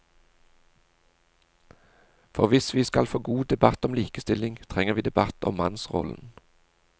For hvis vi skal få god debatt om likestilling, trenger vi debatt om mannsrollen.